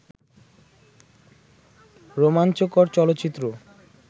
রোমাঞ্চকর চলচ্চিত্র